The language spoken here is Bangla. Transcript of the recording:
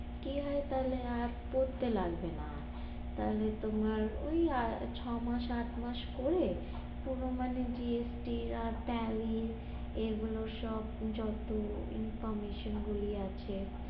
কি হয় তাহলে আর পড়তে লাগবে না, তাহলে তোমার ওই আর ছ মাস আট মাস করে পুরো মানে GST tally এগুলো সব যত informetion গুলো আছে